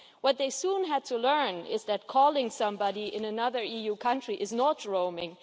What they soon had to learn was that calling somebody in another EU country is not roaming.